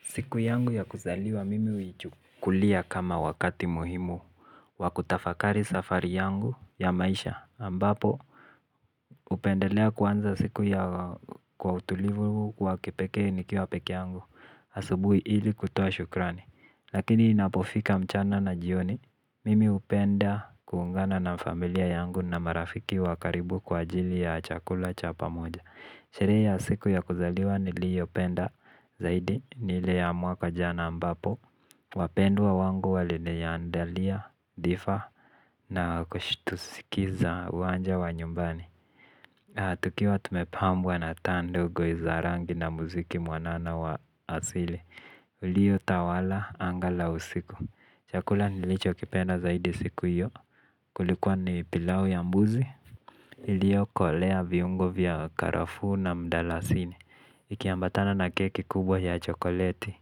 Siku yangu ya kuzaliwa mimi huichukulia kama wakati muhimu wa kutafakari safari yangu ya maisha ambapo hupendelea kuanza siku kwa utulivu wa kipekee nikiwa pekee yangu asubui ili kutoa shukrani. Lakini inapofika mchana na jioni mimi hupenda kuungana na familia yangu na marafiki wakaribu kwa ajili ya chakula cha pamoja. Sherehe ya siku ya kuzaliwa niliopenda zaidi ni ile ya mwaka jana ambapo wapendwa wangu waliniaandalia, dhifa na kushitusikiza uwanja wa nyumbani. Tukiwa tumepambwa na taa ndogo za rangi na muziki mwanana wa asili uliyotawala anga la usiku. Chakula nilicho kipenda zaidi siku hiyo. Kulikuwa ni pilau ya mbuzi iliokolea viungo vya karafu na mdalasini, iki ambatana na keki kubwa ya chokoleti,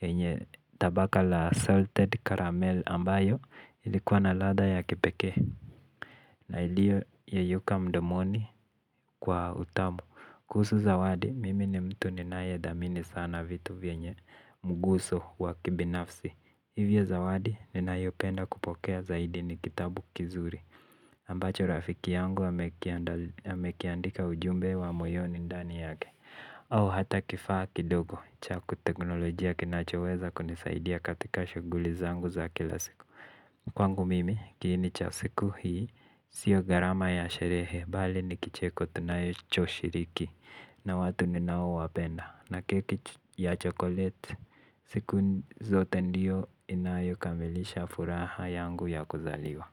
yenye tabaka la salted caramel ambayo ilikuwa na ladha ya kipeke. Na ilio yeyuka mdomoni kwa utamu, kuhusu zawadi mimi ni mtu ni nae dhamini sana vitu vienye mguso wa kibinafsi. Hivyo zawadi ninayopenda kupokea zaidi ni kitabu kizuri ambacho rafiki yangu amekiandika ujumbe wa moyoni ndani yake. Au hata kifaa kidogo cha kiteknolojia kinachoweza kunisaidia katika shughuli zangu za kila siku. Kwangu mimi kiini cha siku hii sio gharama ya sherehe bali ni kicheko tunacho shiriki. Na watu ninao wapenda na keki ya chokoleti siku zote ndiyo inayo kamilisha furaha yangu ya kuzaliwa.